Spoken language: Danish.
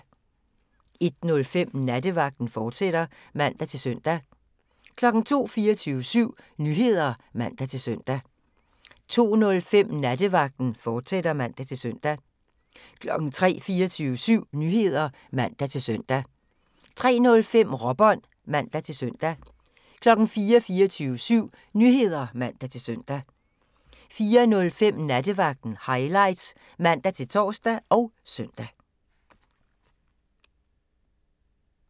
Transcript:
01:05: Nattevagten, fortsat (man-søn) 02:00: 24syv Nyheder (man-søn) 02:05: Nattevagten, fortsat (man-søn) 03:00: 24syv Nyheder (man-søn) 03:05: Råbånd (man-søn) 04:00: 24syv Nyheder (man-søn) 04:05: Nattevagten Highlights (man-tor og søn)